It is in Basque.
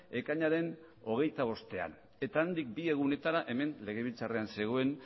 ekainaren hogeita bostean eta handik bi egunetara hemen legebiltzarrean zegoen